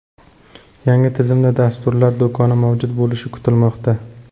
Yangi tizimda dasturlar do‘koni mavjud bo‘lishi kutilmoqda.